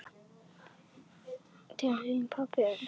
Til þín, elsku pabbi.